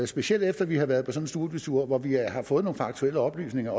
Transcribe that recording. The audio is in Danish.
specielt efter vi har været på sådan en studietur hvor vi har fået nogle faktuelle oplysninger